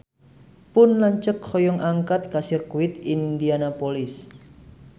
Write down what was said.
Pun lanceuk hoyong angkat ka Sirkuit Indianapolis